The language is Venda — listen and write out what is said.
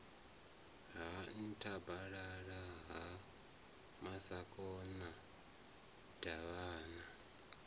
ha nthabalala ha masakona davhana